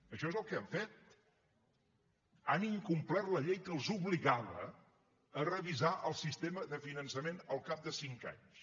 això és el que han fet han incomplert la llei que els obligava a revisar el sistema de finançament al cap de cinc anys